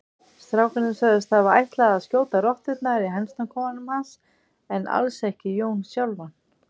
Strákarnir sögðust hafa ætlað að skjóta rotturnar í hænsnakofanum hans en alls ekki Jón sjálfan.